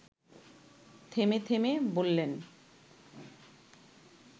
থেমে থেমে বললেন